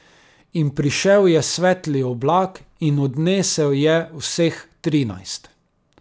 In prišel je svetli oblak in odnesel je vseh trinajst.